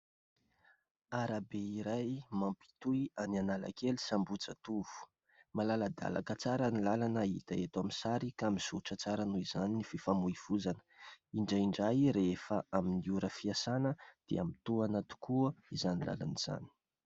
Arabe iray mampitohy an'Analakely sy Ambohijatovo. Malaladalaka tsara ny lalana hita eto amin'ny sary ka mizotra tsara noho izany ny fifamoivozana. Indraindray rehefa amin'ny lera fiasana dia mitohana tokoa izany lalana izany.